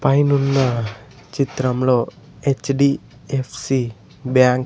పైనున్న చిత్రంలో హెచ్_డి_ఎఫ్_సి బ్యాంక్ --